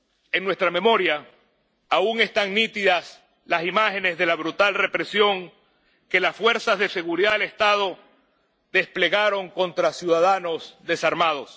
En nuestra memoria aún están nítidas las imágenes de la brutal represión que las fuerzas de seguridad del Estado desplegaron contra ciudadanos desarmados.